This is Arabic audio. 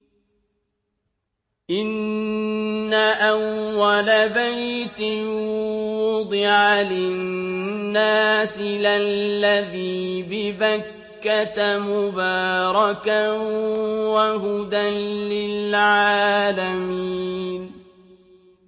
إِنَّ أَوَّلَ بَيْتٍ وُضِعَ لِلنَّاسِ لَلَّذِي بِبَكَّةَ مُبَارَكًا وَهُدًى لِّلْعَالَمِينَ